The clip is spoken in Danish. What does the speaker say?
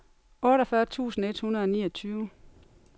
otteogfyrre tusind et hundrede og niogtyve